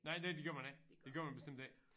Nej det det gør man ikke det gør man bestemt ikke